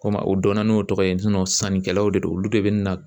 Komi u donna n'o tɔgɔ ye sannikɛlaw de don olu de bɛ na